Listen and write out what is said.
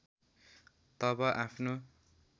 तब आफ्नो